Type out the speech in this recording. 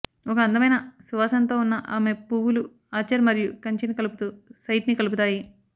ఒక అందమైన సువాసనతో ఉన్న ఆమె పువ్వులు ఆర్చర్ మరియు కంచెని కలుపుతూ సైట్ని కలుపుతాయి